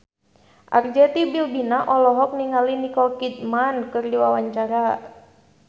Arzetti Bilbina olohok ningali Nicole Kidman keur diwawancara